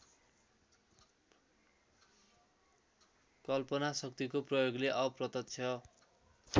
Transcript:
कल्पनाशक्तिको प्रयोगले अप्रत्यक्ष